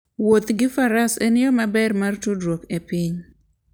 Wuoth gi faras en yo maber mar tudruok gi piny